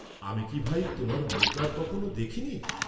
আমি কি ভাই, তোমার মুখ আর কখন দেখি নি?